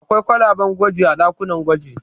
Akwai kwalaben gwaji a ɗakunan gwaji.